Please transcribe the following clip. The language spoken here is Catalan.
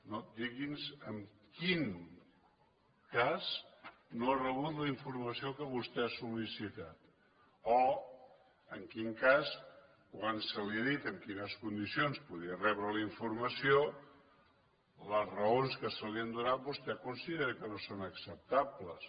no digui’ns en quin cas no ha rebut la informació que vostè ha sol·licitat o en quin cas quan se li ha dit en quines condicions podia rebre la informació les raons que se li han donat vostè considera que no són acceptables